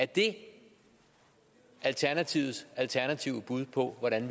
det alternativets alternative bud på hvordan